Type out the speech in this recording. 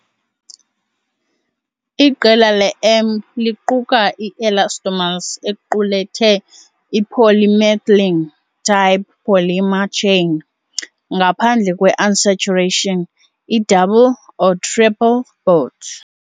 Iqela le-M liquka i-elastomers equkethe i-polymethylene-type polymer chain ngaphandle kwe-unsaturation, i-double or triple bods.